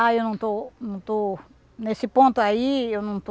Ah, eu não estou não estou nesse ponto aí, eu não estou...